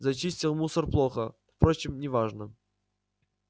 зачистил мусор плохо впрочем не важно